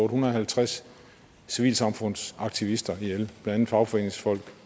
hundrede og halvtreds civilsamfundsaktivister ihjel blandt andet fagforeningsfolk